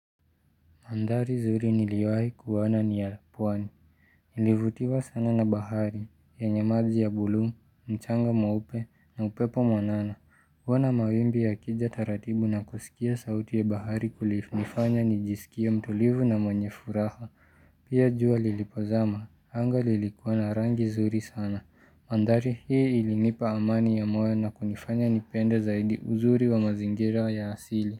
Mandhari zuri niliwahi kuoana ni ya pwani. Nilivutiwa sana na bahari, yenye maji ya buluu, mchanga mweupe, na upepo mwanana. Kuona mawimbi yakija taratibu na kusikia sauti ya bahari kulinifanya nijisikie mtulivu na mwenye furaha. Pia jua lilipozama, hanga lilikuwa na rangi zuri sana. Mandhari hii ilinipa amani ya moyo na kunifanya nipende zaidi uzuri wa mazingira ya asili.